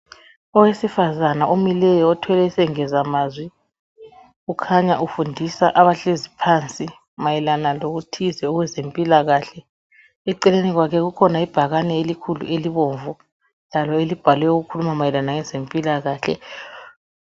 Owesifazane omileyo othwele isengezamazwi ukhanya ufundisa abahlezi phansi mayelana lokuthize okwezempilakahle. Eceleni kwakhe kukhona ibhakane elikhulu elibomvu lalo elibhalwe okukhuluma mayelana lezempilakahle.